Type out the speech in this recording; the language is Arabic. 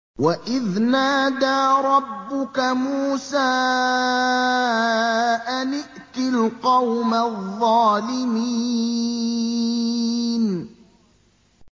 وَإِذْ نَادَىٰ رَبُّكَ مُوسَىٰ أَنِ ائْتِ الْقَوْمَ الظَّالِمِينَ